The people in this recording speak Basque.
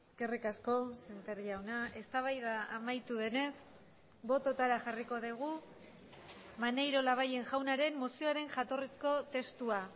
eskerrik asko sémper jauna eztabaida amaitu denez bototara jarriko dugu maneiro labayen jaunaren mozioaren jatorrizko testua